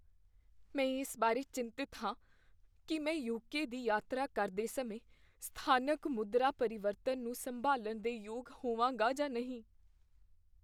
ਮੈਂ ਇਸ ਬਾਰੇ ਚਿੰਤਿਤ ਹਾਂ ਕੀ ਮੈਂ ਯੂ.ਕੇ. ਦੀ ਯਾਤਰਾ ਕਰਦੇ ਸਮੇਂ ਸਥਾਨਕ ਮੁਦਰਾ ਪਰਿਵਰਤਨ ਨੂੰ ਸੰਭਾਲਣ ਦੇ ਯੋਗ ਹੋਵਾਂਗਾ ਜਾਂ ਨਹੀਂ।